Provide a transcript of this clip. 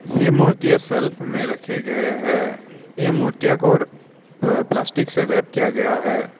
ये मूर्तियां सेल्फ में रखे गए हैं ये मूर्तियों को प्लास्टिक से रेप किया गया है।